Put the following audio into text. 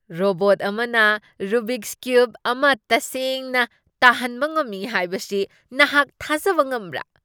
Robot ꯑꯃꯅ Rubik's cube ꯑꯃꯇꯁꯦꯡꯅ ꯇꯥꯍꯟꯕ ꯉꯝꯃꯤ ꯍꯥꯏꯕꯁꯤ ꯅꯍꯥꯛ ꯊꯥꯖꯕ ꯉꯝꯕ꯭ꯔꯥ ?